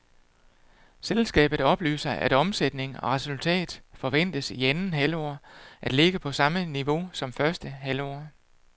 Selskabet oplyser, at omsætning og resultat forventes i anden halvår at ligge på samme niveau som første halvår.